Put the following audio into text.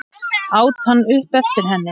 át hann upp eftir henni.